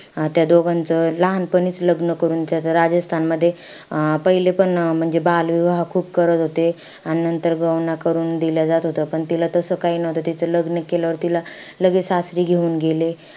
अं त्या दोघांचं लहानपणीचं लग्न करून त्याचं, राजस्थानमध्ये अं पहिले पण म्हणजे बालविवाह खूप करत होते. अन नंतर लग्न करून दिलं जात होतं. पण तिला तसं काही नव्हतं. तिचं लग्न केल्यावर तिला लगेचं सासरी घेऊन गेले.